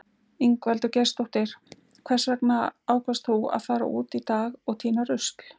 Ingveldur Geirsdóttir: Hvers vegna ákvaðst þú að fara út í dag og týna rusl?